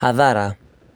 Hathara